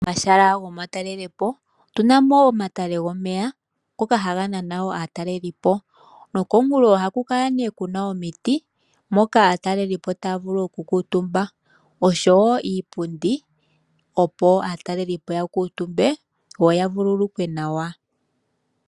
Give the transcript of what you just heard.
Momashala gomatalelepo otuna mo omatale gomeya ngoka haga nana wo aatalelipo noko minkulo ohaku kala ne kuna omiti moka aatalelipo taya vulu oku kuutumba, osho wo iipundi opo aatalelipo ya kuutumbe yo vululukwe nawa.